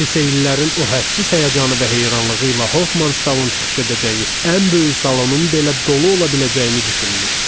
Lisey illərin o hədsiz həyəcanı və heyranlığı ilə Hofmanstalın çıxış edəcəyi ən böyük salonun belə dolu ola biləcəyini düşünmüşdük.